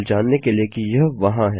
केवल जानने के लिए कि यह वहाँ है